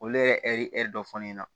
Olu yɛrɛ ye hɛri ɛri dɔ fɔ ne ɲɛna